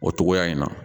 O cogoya in na